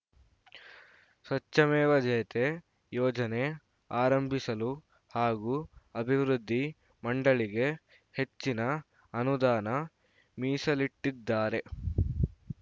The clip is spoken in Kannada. ಸ್ವಚ್ಛಮೇವ ಜಯತೆ ಯೋಜನೆ ಆರಂಭಿಸಲು ಹಾಗೂ ಅಭಿವೃದ್ಧಿ ಮಂಡಳಿಗೆ ಹೆಚ್ಚಿನ ಅನುದಾನ ಮೀಸಲಿಟ್ಟಿದ್ದಾರೆ